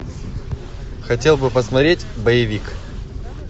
хотел бы посмотреть боевик